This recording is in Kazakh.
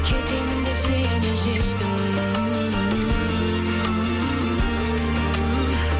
кетемін деп сенен шештім